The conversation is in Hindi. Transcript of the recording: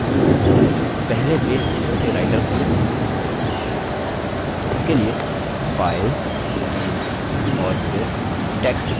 इसके लिए file new और फिर text document पर click करें